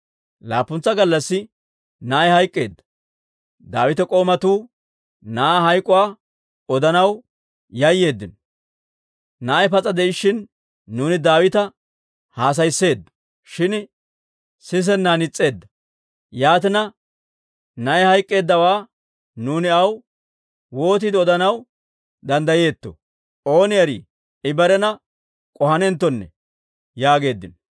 Laappuntsa gallassi na'ay hayk'k'eedda. Daawita k'oomatuu na'aa hayk'k'uwaa odanaw yayyeeddino; «Na'ay pas'a de'ishshin nuuni Daawita haasayisseeddo; shin sisennan is's'eedda. Yaatina, na'ay hayk'k'eeddawaa nuuni aw wootiide odanaw danddayeettoo? Ooni erii, I barena k'ohanenttonne» yaageeddino.